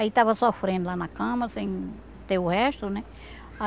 Aí estava sofrendo lá na cama, sem ter o resto, né?